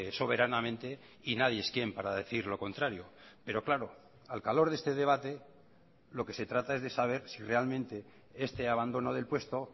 soberanamente y nadie es quién para decir lo contrario pero claro al calor de este debate lo que se trata es de saber si realmente este abandono del puesto